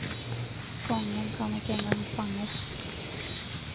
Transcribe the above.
Kongen kan ikke en gang fanges.